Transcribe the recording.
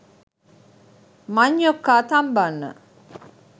මංඤ්ඤොක්කා තම්බන්න